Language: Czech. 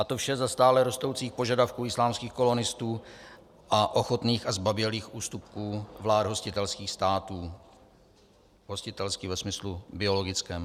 A to vše za stále rostoucích požadavků islámských kolonistů a ochotných a zbabělých ústupků vlád hostitelských států, hostitelský ve smyslu biologickém.